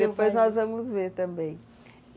Depois nós vamos ver também.